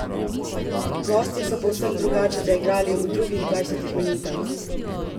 Gostje so povsem drugače zaigrali v drugih dvajsetih minutah.